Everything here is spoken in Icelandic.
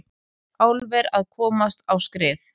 Álver að komast á skrið